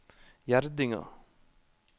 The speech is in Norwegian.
Gjerdinga